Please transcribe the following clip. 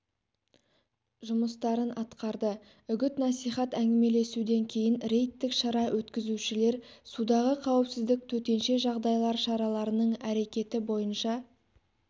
жұмыстарын атқарды үгіт-насихат әңгімеселесуден кейін рейдтік шара өткізушілер судағы қауіпсіздік төтенше жағдайлар шараларының әрекеті бойынша